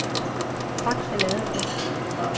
Fakse Ladeplads